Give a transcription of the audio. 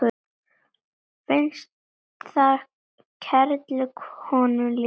Finnst það kerlu honum líkt.